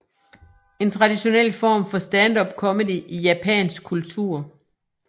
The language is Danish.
er traditionel form for standupcomedy i japansk kultur